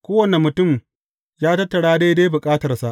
Kowane mutum ya tattara daidai bukatarsa.